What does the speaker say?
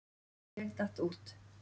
Ég datt út.